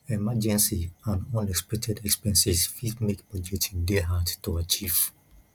emergency and unexpected expenses fit make budgeting dey hard to achieve